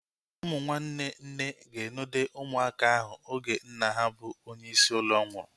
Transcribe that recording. Ụmụ nwanne nne ga-enode ụmụaka ahu oge nna ha bụ onye isi ụlọ nwụrụ